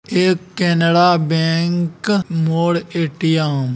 एक केनरा बैंक मोड़ ए.टी.एम. --